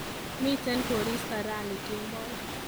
Miten koristo rani kemboi